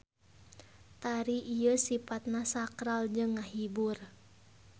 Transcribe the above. Tari ieu sipatna sakral jeung ngahibur.